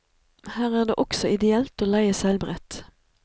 Her er det også ideelt å leie seilbrett.